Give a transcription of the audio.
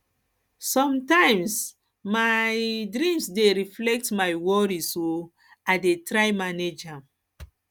sometimes my um dreams dey reflect my worries um i dey try manage am